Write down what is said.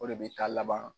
O de bɛ taa laban